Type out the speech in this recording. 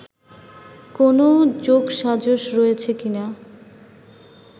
কোনও যোগসাজশ রয়েছে কিনা